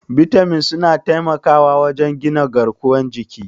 Bitamin suna taimakawa wajen gina garkuwar jiki.